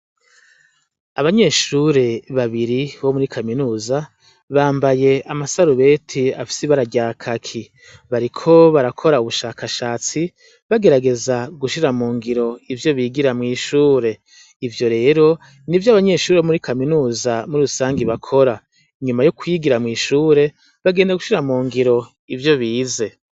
Abanyeshure babiri bo muri kaminuza bambaye amasarubeti afisi ibara rya kaki bariko barakora ubushakashatsi bagerageza gushira mu ngiro ivyo bigira mw'ishure ivyo rero ni vyo abanyeshuri bo muri kaminuza muri rusange bakora, inyuma yo kwigira mw'ishure bagenda gushira mu ngiro ivyo bize.